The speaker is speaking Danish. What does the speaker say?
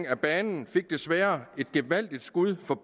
af banen fik desværre et gevaldigt skud for